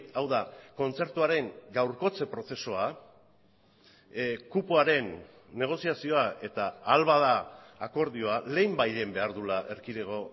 hau da kontzertuaren gaurkotze prozesua kupoaren negoziazioa eta ahal bada akordioa lehenbailehen behar duela erkidego